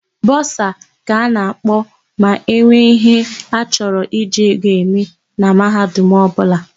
Bọsa ka a ga-akpọ ma enwe íhé a chọrọ iji ego eme na mahadum ọbụla.